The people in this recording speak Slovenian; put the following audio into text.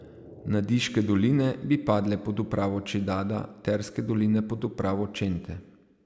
Nadiške doline bi padle pod upravo Čedada, Terske doline pod upravo Čente.